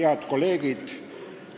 Head kolleegid!